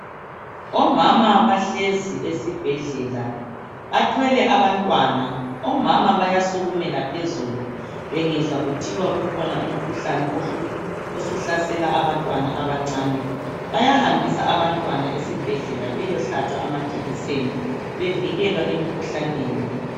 Omama bahlezi esibhedlela bathwele abantwana omama bayasukumela phezulu bengezwa kuthiwa kukhona umkhuhlane osuhlasela abantwana abancane bayahambisa abantwana esibhedlela beyehlatshwa amajekiseni bevikelwa emikhuhlaneni